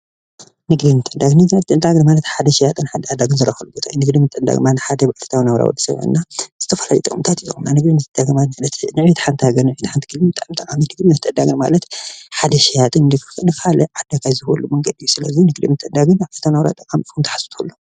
ዕዳጋ ንግዲ ማለት ሓደ ሸያጥን ዓዳግን ዝራከቡሉ ንግዲ ምትዕድዳግ ማለት ዕለታዊ ናብራ ወዲሰብ ዝተፈላለዩ ጠቅምታት ማናጅማት ሓደ ሸያጥን ዓዳግን ንካሊእ ዓዳይ ዝህበሉ መንገዲ እዩ። ስለዚ ምዕዳግን ምትዕድዳግን ዕለታዊ ናብራ ክትሓስቡ ትክእሉ ኢኩም።